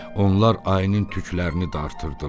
Onlar ayının tüklərini dartırdılar.